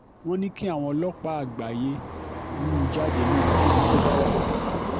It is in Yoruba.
wọ́n ní kí àwọn ọlọ́pàá àgbáyé hú u jáde níbikíbi tó bá wà